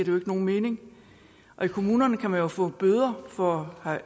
jo ikke nogen mening i kommunerne kan man jo få bøder for